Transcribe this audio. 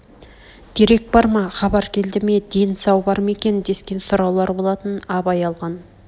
дерек бар ма хабар келді ме ден сау бар ма екен дескен сұраулар болатын абай алған